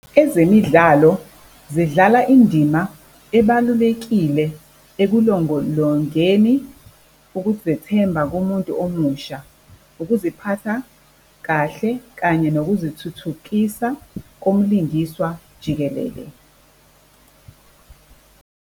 Ezemidlalo zidlala indima ebalulekile ekulongolongeni ukuzethemba kumuntu omusha, ukuziphatha kahle, kanye nokuzithuthukisa komlingiswa jikelele.